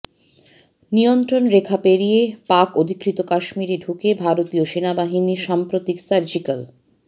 নিয়ন্ত্রণরেখা পেরিয়ে পাক অধিকৃত কাশ্মীরে ঢুকে ভারতীয় সেনাবাহিনীর সাম্প্রতিক সার্জিক্যাল